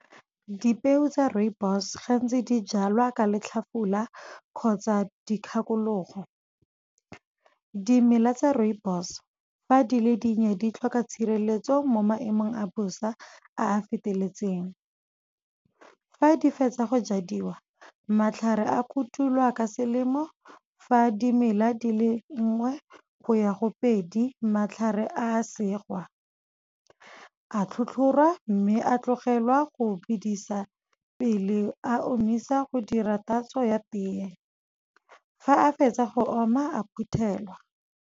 Dipeo tsa rooibos gantsi di jalwa ka letlhafula kgotsa dikgakologo. Dimela tsa rooibos fa di le dinnye di tlhoka tshireletso mo maemong a bosa a a feteletseng. Fa di fetsa go jadiwa matlhare a kotulwa ka selemo fa dimela dile nngwe go ya go pedi, matlhare a segiwa, a tlhotlhoriwa mme a tlogelwa go bidisa pele a omisa, go dira tatso ya teye. Fa a fetsa go oma a phuthelwa.